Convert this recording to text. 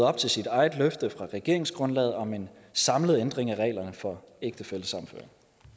op til sit eget løfte fra regeringsgrundlaget om en samlet ændring af reglerne for ægtefællesammenføring